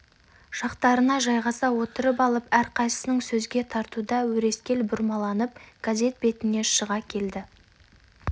жақтарына жайғаса отырып алып әрқайсысын сөзге тартуда өрескел бұрмаланып газет бетіне шыға келді